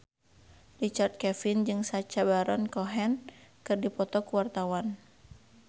Richard Kevin jeung Sacha Baron Cohen keur dipoto ku wartawan